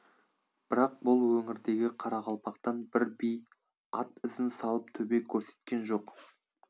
бірақ бұл өңірдегі қарақалпақтан бір би ат ізін салып төбе көрсеткен жоқ